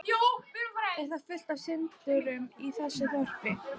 Er þá fullt af syndurum í þessu þorpi?